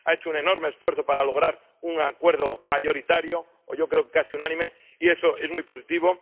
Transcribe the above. Ha hecho un enorme esfuerzo para lograr un acuerdo mayoritario —yo creo casi unánime—, y eso es muy positivo.